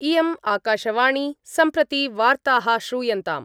इयम् आकाशवाणी सम्प्रति वार्ताः श्रूयन्ताम्